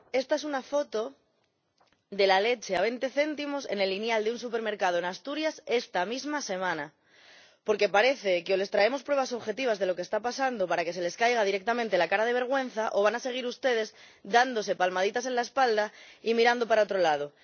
Señora Presidenta, esta es una foto de la leche a 20 céntimos en el estante de un supermercado en Asturias esta misma semana. Porque parece que o les traemos pruebas objetivas de lo que está pasando para que se les caiga directamente la cara de vergüenza o van a seguir ustedes dándose palmaditas en la espalda y mirando para otro lado.